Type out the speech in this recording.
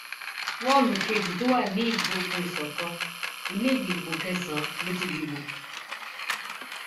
wọọlù kejì tó wà ní ìgbógunìsókàn ilé ìdìbò kẹsànán ló ti dìbò